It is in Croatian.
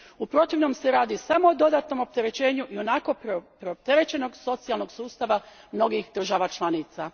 U protivnom se radi samo o dodatnom opterećenju ionako preopterećenog socijalnog sustava mnogih država članica.